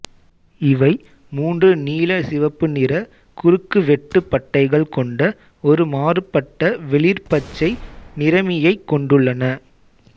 இவை மூன்று நீலசிவப்பு நிற குறுக்குவெட்டு பட்டைகள் கொண்ட ஒரு மாறுபட்ட வெளிர் பச்சை நிறமியைக் கொண்டுள்ளன